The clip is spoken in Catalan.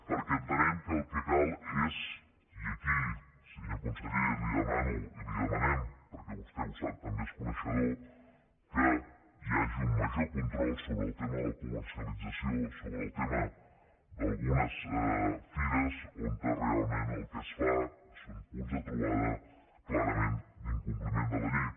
perquè entenem que el que cal és i aquí senyor conseller li ho demano i li ho demanem perquè vostè ho sap també n’és coneixedor que hi hagi un major control sobre el tema de la comercialització sobre el tema d’algunes fires on realment el que es fa són punts de trobada clarament d’incompliment de la llei